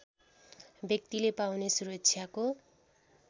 व्यक्तिले पाउने सुरक्षाको